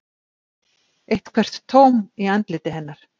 Eitthvert tóm í andliti hennar.